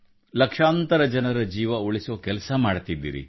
ಲಕ್ಷಾಂತರ ಜನರ ಜೀವ ಉಳಿಸುವ ಕೆಲಸ ಮಾಡುತ್ತಿದ್ದೀರಿ